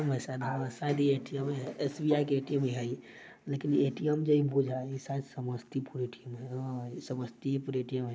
हां शायद ये ए_टी_एमे है एस_बी_आई के ए_टी_एम है ये लेकिन ए_टी_एम जे बुझाय शायद समस्तीपुर ए_टी_एम हैं। हां समस्तीयेपुर ए_टी_एम हैं।